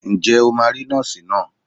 Ǹjẹ́ o máa rí Nọ́ọ̀sì náà?